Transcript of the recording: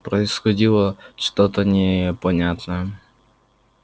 происходило что-то непонятное